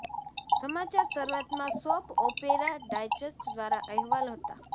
સમાચાર શરૂઆતમાં Soap Opera Digest દ્વારા અહેવાલ હતા